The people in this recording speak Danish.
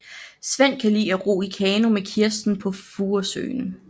Svend kan lide at ro i kano med Kirsten på Furesøen